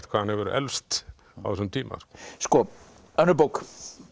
hvað hann hefur eflst á þessum tíma önnur bók